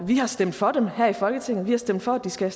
har stemt for dem her i folketinget vi har stemt for at de skal